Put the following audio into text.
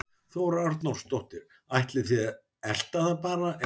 Þóra Arnórsdóttir: Ætlið þið að elta það bara eða?